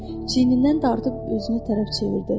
Çiyindən dartıb özünə tərəf çevirdi.